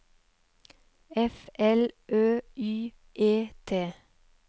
F L Ø Y E T